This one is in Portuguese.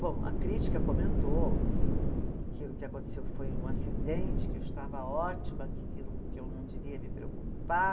Bom, a crítica comentou que o, aquilo que aconteceu foi um acidente, que eu estava ótima, que aquilo que eu não devia me preocupar.